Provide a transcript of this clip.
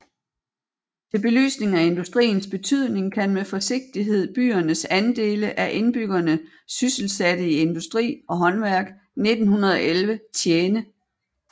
Til belysning af industriens betydning kan med forsigtighed byernes andele af indbyggerne sysselsatte i industri og håndværk 1911 tjene